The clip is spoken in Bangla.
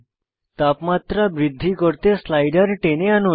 তাপমাত্রা বৃদ্ধি করতে স্লাইডার টেনে আনুন